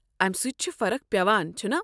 امہ سۭتۍ چھُ فرق پٮ۪وان، چھُنا؟